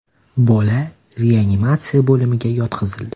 Bola reanimatsiya bo‘limiga yotqizildi.